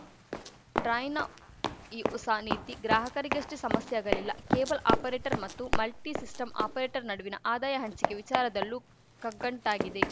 ಟ್ರಾಯ್‌ನ ಈ ಹೊಸ ನೀತಿ ಗ್ರಾಹಕರಿಗಷ್ಟೇ ಸಮಸ್ಯೆಯಾಗಲಿಲ್ಲ ಕೇಬಲ್‌ ಆಪರೇಟರ್‌ ಮತ್ತು ಮಲ್ಟಿಸಿಸ್ಟಮ್‌ ಆಪರೇಟರ್‌ ನಡುವಿನ ಆದಾಯ ಹಂಚಿಕೆ ವಿಚಾರದಲ್ಲೂ ಕಗ್ಗಂಟಾಗಿದೆ